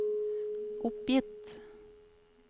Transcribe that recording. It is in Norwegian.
oppgitt